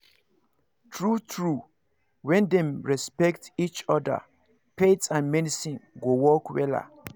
true true when dem respect each other faith and medicine go work wella